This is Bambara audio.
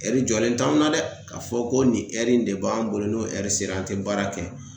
jɔlen t'anw na dɛ! ka fɔ ko nin in de b'anw bolo n'o sera an te baara kɛ.